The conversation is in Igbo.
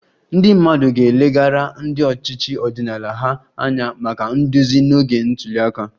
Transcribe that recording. Ndị mmadụ ga-elegara ndị ọchịchị ọdịnala ha anya maka nduzi n'oge ntuli aka